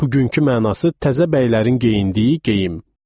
Bugünkü mənası təzə bəylərin geyindiyi geyim.